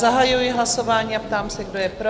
Zahajuji hlasování a ptám se, kdo je pro?